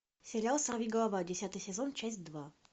сериал сорвиголова десятый сезон часть два